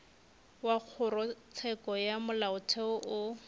wa kgorotsheko ya molaotheo o